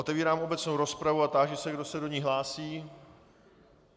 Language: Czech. Otevírám obecnou rozpravu a táži se, kdo se do ní hlásí.